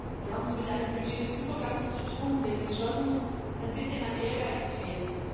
Wir haben es mit einem Budget des Übergangs zu tun, dem es schon ein bisschen an Ehrgeiz fehlt.